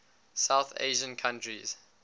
south asian countries